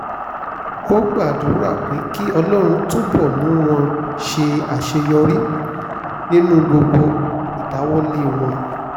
ó gbàdúrà pé kí ọlọ́run túbọ̀ mú wọn ṣàṣeyọrí nínú gbogbo ìdáwọ́lé wọn